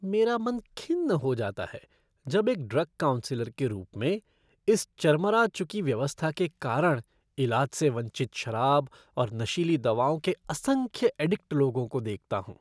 मेरा मन खिन्न हो जाता है जब एक ड्रग काउन्सलर के रूप में इस चरमरा चुकी व्यवस्था के कारण इलाज से वंचित शराब और नशीली दवाओं के असंख्य एडिक्ट लोगों को देखता हूँ।